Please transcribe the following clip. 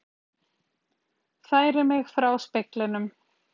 Færi mig frá speglinum.